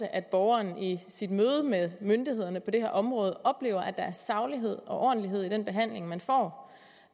af at borgeren i sit møde med myndighederne på det her område oplever at der er saglighed og ordentlighed i den behandling man får